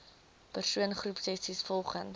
persoon groepsessies volgens